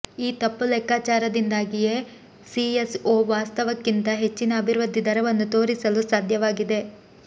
ಈ ತಪ್ಪುಲೆಕ್ಕಾಚಾರದಿಂದಾಗಿಯೇ ಸಿಎಸ್ಒ ವಾಸ್ತವಕ್ಕಿಂತ ಹೆಚ್ಚಿನ ಅಭಿವೃದ್ಧಿ ದರವನ್ನು ತೋರಿಸಲು ಸಾಧ್ಯವಾಗಿದೆ